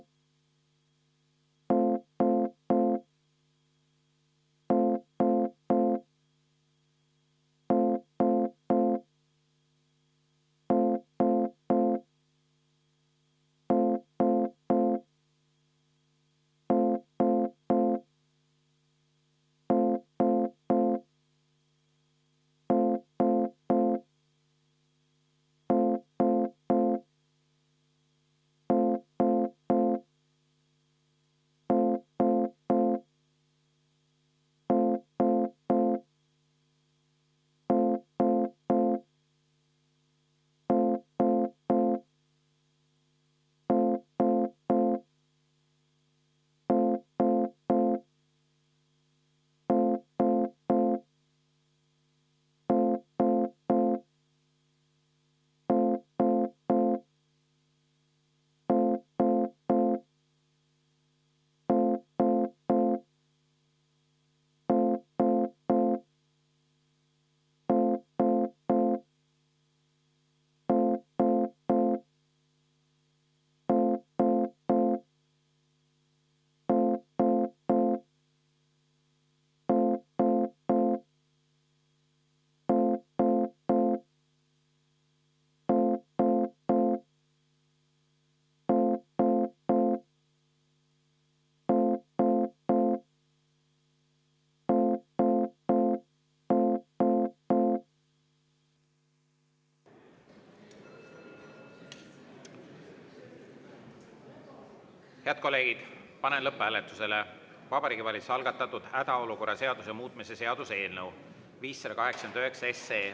Head kolleegid, panen lõpphääletusele Vabariigi Valitsuse algatatud hädaolukorra seaduse muutmise seaduse eelnõu 589.